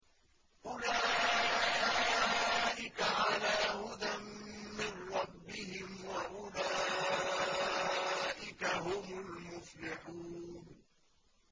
أُولَٰئِكَ عَلَىٰ هُدًى مِّن رَّبِّهِمْ ۖ وَأُولَٰئِكَ هُمُ الْمُفْلِحُونَ